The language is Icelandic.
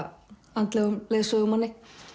andlegum leiðsögumanni